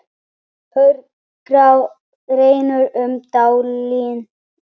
Hörgá rennur um dalinn.